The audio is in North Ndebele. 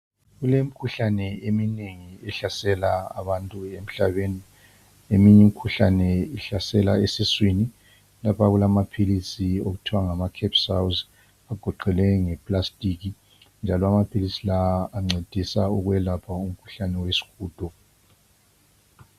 Kulemikhuhlane eminengi ehlasela abantu emhlabeni , eminye imikhuhlane ihlasela esiswini , lapha kulamaphilisi okuthiwa ngama capsules agoqelwe nge plastic njalo amaphilisi ancedisa ukwelapha umkhuhlane wesihudo